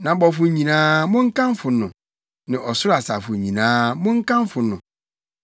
Nʼabɔfo nyinaa, monkamfo no, ne ɔsoro asafo nyinaa, monkamfo no.